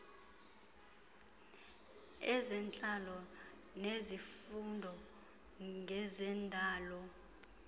ezentlalo nezifundo ngezendalo